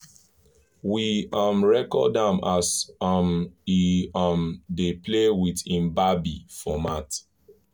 we um record am as um e um dey play with hin babi for mat